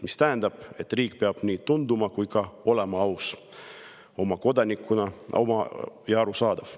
Mis tähendab, et riik peab nii tunduma kui ka olema aus, oma ja arusaadav.